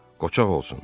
Qoçaq olsun.